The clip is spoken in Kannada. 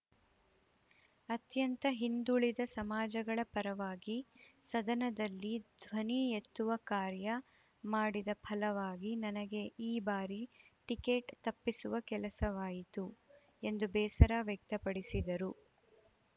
ಅತ್ಯಂತ ಹಿಂದುಳಿದ ಸಮಾಜಗಳ ಪರವಾಗಿ ಸದನದಲ್ಲಿ ಧ್ವನಿ ಎತ್ತುವ ಕಾರ್ಯ ಮಾಡಿದ ಫಲವಾಗಿ ನನಗೆ ಈ ಬಾರಿ ಟಿಕೆಟ್‌ ತಪ್ಪಿಸುವ ಕೆಲಸವಾಯಿತು ಎಂದು ಬೇಸರ ವ್ಯಕ್ತಪಡಿಸಿದರು